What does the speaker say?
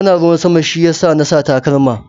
Ana ruwan sama shi ya sa na sa takalma.